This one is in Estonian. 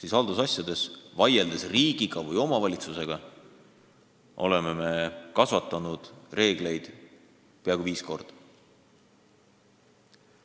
Ent haldusasjades, kui vaieldakse riigi või omavalitsusega, me oleme kasvatanud reeglite arvu peaaegu viis korda.